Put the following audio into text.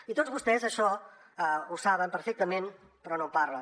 i tots vostès això ho saben perfectament però no en parlen